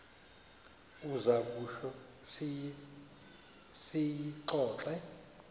uza kutsho siyixoxe